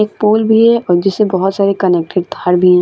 एक पोल भी है और जिससे बहुत सारे कनेक्टेड तार भी हैं।